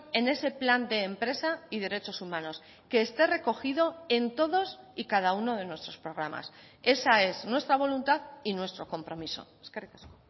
en ese plan de empresa y derechos humanos que esté recogido en todos y cada uno de nuestros programas esa es nuestra voluntad y nuestro compromiso eskerrik asko